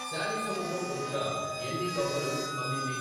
Sally సముద్రం ఒడ్డున ఎన్ని గవ్వలు అమ్మింది?